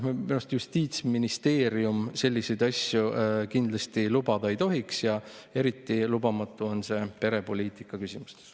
Minu arust Justiitsministeerium kindlasti selliseid asju ei tohiks lubada ja eriti lubamatu on see perepoliitika küsimustes.